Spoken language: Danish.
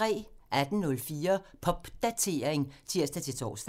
18:04: Popdatering (tir-tor)